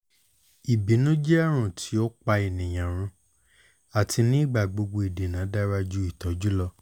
ibinu jẹ arun ti o pa eniyan run ati nigbagbogbo idena dara ju itọju lọ